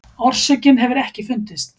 Orsökin hefur ekki fundist.